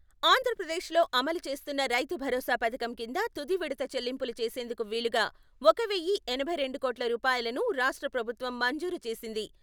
ఆంధ్ర ప్రదేశ్ లో అమలు చేస్తున్న రైతు భరోసా పథకం కింద తుది విడత చెల్లింపులు చేసేందుకు వీలుగా ఒక వెయ్యి ఎనభై రెండు కోట్ల రూపాయలను రాష్ట్ర ప్రభుత్వం మంజూరు చేసింది.